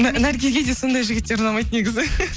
наргизге де сондай жігіттер ұнамайды негізі